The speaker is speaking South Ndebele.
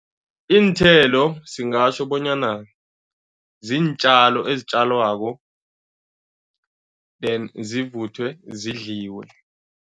Iinthelo singatjho bonyana ziintjalo ezitjalwako and zivuthwe, zidliwe.